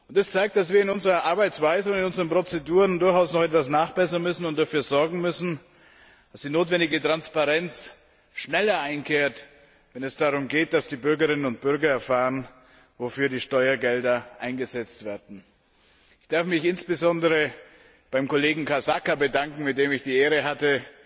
Das zeigt, dass wir in unserer Arbeitsweise und in unseren Prozeduren durchaus noch etwas nachbessern und dafür sorgen müssen, dass die notwendige Transparenz schneller einkehrt, wenn es darum geht, dass die Bürgerinnen und Bürger erfahren, wofür die Steuergelder eingesetzt werden. Ich darf mich insbesondere beim Kollegen Casaca bedanken, mit dem ich die Ehre hatte,